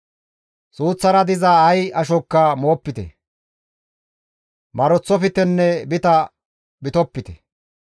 « ‹Suuththara diza ay ashokka moopite; maroththoftenne bita bitopite.